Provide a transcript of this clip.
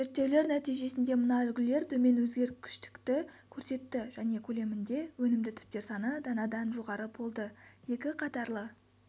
зерттеулер нәтижесінде мына үлгілер төмен өзгергіштікті көрсетті және көлемінде өнімді түптер саны данадан жоғары болды екіқатарлы